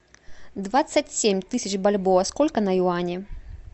двадцать семь тысяч бальбоа сколько на юани